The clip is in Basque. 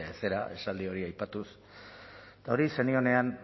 zera esaldi hori aipatuz eta hori zenionean